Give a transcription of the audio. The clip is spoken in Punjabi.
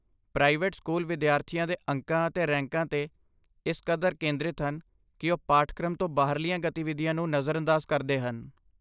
ਪ੍ਰਾਈਵੇਟ ਸਕੂਲ ਵਿਦਿਆਰਥੀਆਂ ਦੇ ਅੰਕਾਂ ਅਤੇ ਰੈਂਕਾਂ 'ਤੇ ਇਸ ਕਦਰ ਕੇਂਦਰਿਤ ਹਨ ਕਿ ਉਹ ਪਾਠਕ੍ਰਮ ਤੋਂ ਬਾਹਰਲੀਆਂ ਗਤੀਵਿਧੀਆਂ ਨੂੰ ਨਜ਼ਰਅੰਦਾਜ਼ ਕਰਦੇ ਹਨ।